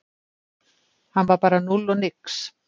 Hann var bara núll og nix.